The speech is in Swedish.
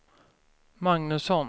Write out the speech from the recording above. Magnusson